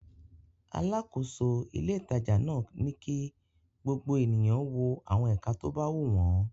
Alákòóso ilé-ìtajà náà ni kí gbogbo ènìyàn wo àwọn ẹ̀ka tó bá wù wọ́n.